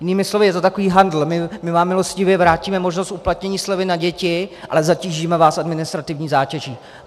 Jinými slovy, je to takový handl - my vám milostivě vrátíme možnost uplatnění slevy na děti, ale zatížíme vás administrativní zátěží.